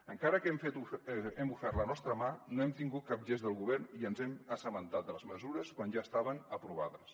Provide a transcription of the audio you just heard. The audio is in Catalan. encara que hem ofert la nostra mà no hem tingut cap gest del govern i ens hem assabentat de les mesures quan ja estaven aprovades